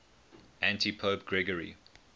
antipope gregory